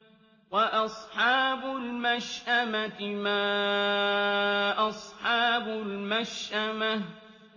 وَأَصْحَابُ الْمَشْأَمَةِ مَا أَصْحَابُ الْمَشْأَمَةِ